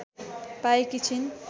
पाएकी छिन्